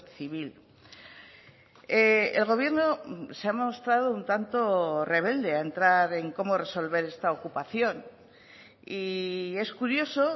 civil el gobierno se ha mostrado un tanto rebelde a entrar en cómo resolver esta ocupación y es curioso